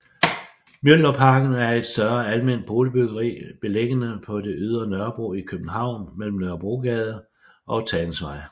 Mjølnerparken er et større alment boligbyggeri beliggende på det ydre Nørrebro i København mellem Nørrebrogade og Tagensvej